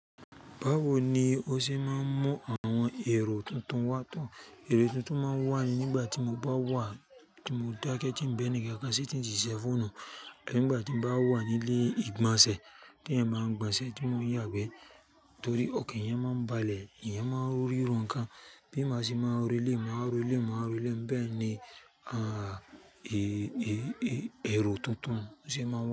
Báwo ni ó ṣe máa ń mú àwọn èrò tuntun wá tán? Èrò tuntun máa ń wà ní nígbà tí mo bá wà, tí mo dákẹ́ tí n baẹ̀ní kankan se tín si te fonun, nígbà tí n bawa nílé ìgbọ̀nsẹ̀ tí eyan báa ń gbọnṣẹ̀ tí mo ń yàgbẹ́ torí ọkàn yẹn máa ń balẹ̀, ìyẹn máa ń rọ nkan gan. Bíma ṣe máa ro eleyi, màá ro eléyi, màá ro eleyi, bẹ́ẹ̀ ni, à, èrò tuntun ṣe máa wá.